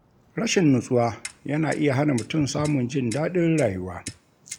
Rashin nutsuwa yana iya hana mutum samun jin daɗin rayuwa.